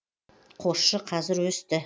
қосшы қазір өсті